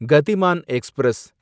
Gatimaan express